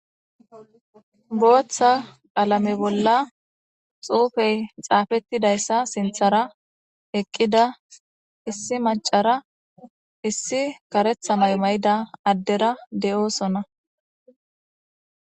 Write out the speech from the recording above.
booththa alame bolla xuufey xaafettidayssa sinthara eqqida issi macara issi karetha maymayida addera de7oosona